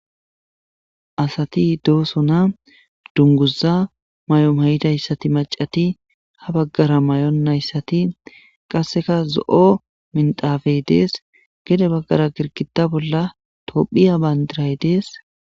Asati dooso na dunguza may'om hay'idayssati macati ha baggara may'onayssati qasseka zo'o mindafey dees gede baggara girkita bolla tophiya bayndiray dees.